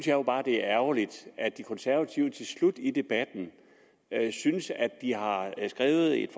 jo bare det er ærgerligt at de konservative til slut i debatten synes at de har skrevet et